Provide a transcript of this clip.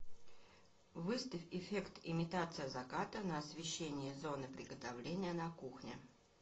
выставь эффект имитация заката на освещении зоны приготовления на кухне